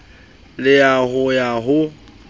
le ya ho ya ho